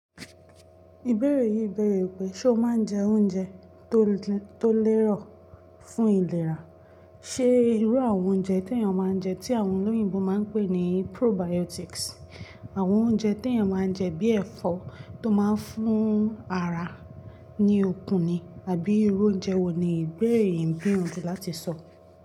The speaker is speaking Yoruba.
Ìbéèrè yìí béèrè pé sé o máa je oúnje tó lè rò fún ìlera. Ṣé irú àwọn oúnjẹ tí èèyàn máa ń jẹ, tí àwọn olóyìnbo máa ń pè ní probiotics, àwọn oúnjẹ tí èèyàn máa ń jẹ bíi ẹ̀fọ́ tó máa ń fún ara ní okun ni àbí irú oúnjẹ wo ni ìbéèrè yìí n gbiyanju láti sọ.